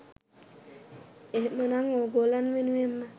එහෙමනම් ඕගොල්ලන් වෙනුවෙන්ම